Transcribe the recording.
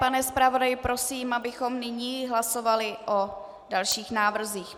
Pane zpravodaji, prosím, abychom nyní hlasovali o dalších návrzích.